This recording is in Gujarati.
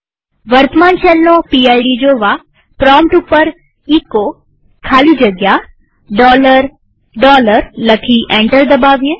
વર્તમાન શેલનો પીડ જોવા પ્રોમ્પ્ટ ઉપર એચો ખાલી જગ્યા લખી એન્ટર દબાવીએ